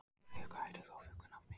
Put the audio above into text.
Eyfríður, hvað heitir þú fullu nafni?